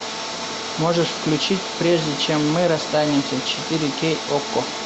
можешь включить прежде чем мы расстанемся четыре кей окко